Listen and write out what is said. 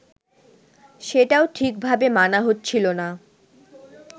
সেটাও ঠিকভাবে মানা হচ্ছিল না